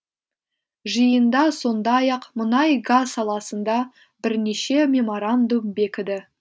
жиында сондай ақ мұнай газ саласында бірнеше меморандум бекіді